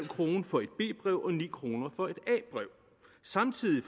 kroner for et b brev og ni kroner for et a brev samtidig